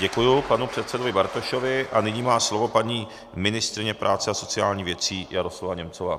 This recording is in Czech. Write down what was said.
Děkuji panu předsedovi Bartošovi a nyní má slovo paní ministryně práce a sociálních věcí Jaroslava Němcová.